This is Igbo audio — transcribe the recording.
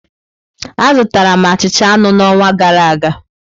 Azụtara m achịcha anụ n'ọnwa gara aga.